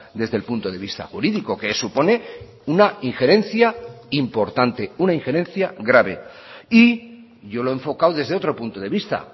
desde el punto de vista jurídico que supone una injerencia importante una injerencia grave y yo lo he enfocado desde otro punto de vista